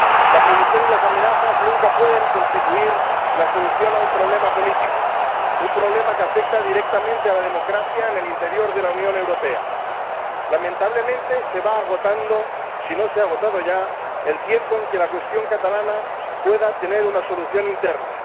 La prohibición y las amenazas nunca pueden constituir la solución a un problema político, un problema que afecta directamente a la democracia en el interior de la Unión Europea. Lamentablemente, se va agotando, si no se ha agotado ya, el tiempo en que la cuestión catalana pueda tener una solución interna.